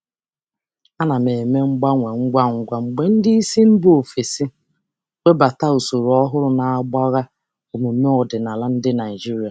Ana m emegharị ngwa ngwa mgbe ndị oga si mba ọzọ na-ewebata usoro ọhụrụ nke na-ama omume Naịjirịa ọdịnala aka.